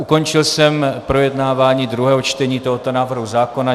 Ukončil jsem projednávání druhého čtení tohoto návrhu zákona.